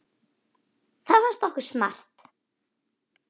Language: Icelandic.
Það fannst okkur smart.